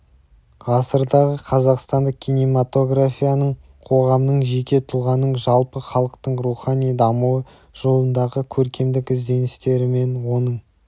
ғасырдағы қазақстандық кинематографияның қоғамның жеке тұлғаның жалпы халықтың рухани дамуы жолындағы көркемдік ізденістері мен оның